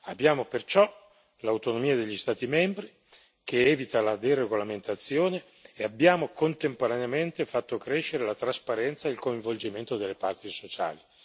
Abbiamo perciò l'autonomia degli Stati membri che evita la deregolamentazione e abbiamo contemporaneamente fatto crescere la trasparenza e il coinvolgimento delle parti sociali.